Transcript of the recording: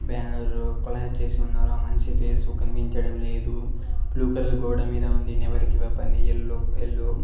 Banner collab చేసి ఉన్నారు ఆ మనిషి ఫేసు కనిపించడం లేదు బ్లూ కలర్ గోడ మీద ఉంది వెపన్ ని ఎల్లో ఎల్లో .